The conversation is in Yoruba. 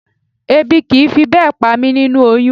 Ebi kì í fi bẹ́ẹ̀ pa mí nínú oyún